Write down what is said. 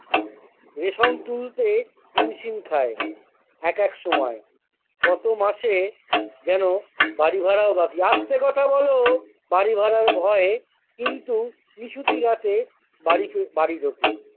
Ration তুলতে হিমশিম খায় এক একসময় গতমাসে যেন বাড়ি ভাড়াও বাকি আস্তে কথা বোলো বাড়ি ভাড়ার ভয়ে কিন্তু নিশুতি রাতে বাড়ি চ বাড়ি ঢোকে।